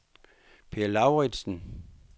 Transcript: Peer Lauritzen